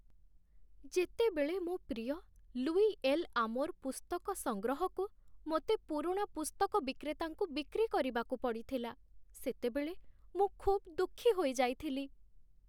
ଯେତେବେଳେ ମୋ ପ୍ରିୟ ଲୁଇ ଏଲ୍'ଆମୋର୍ ପୁସ୍ତକ ସଂଗ୍ରହକୁ ମୋତେ ପୁରୁଣା ପୁସ୍ତକ ବିକ୍ରେତାଙ୍କୁ ବିକ୍ରି କରିବାକୁ ପଡ଼ିଥିଲା, ସେତେବେଳେ ମୁଁ ଖୁବ୍ ଦୁଃଖୀ ହୋଇଯାଇଥିଲି।